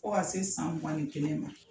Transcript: Ko ka se i san mugan ni kelen ma.